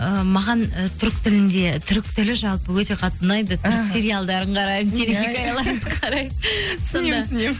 ы маған і түрік тілінде түрік тілі жалпы өте қатты ұнайды іхі түрік сериалдарын қараймын телехикаяларын